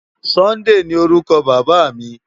Sunday ni órùkò Baba mi